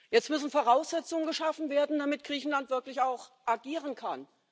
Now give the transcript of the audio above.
Jetzt müssen Voraussetzungen geschaffen werden, damit Griechenland wirklich auch agieren kann.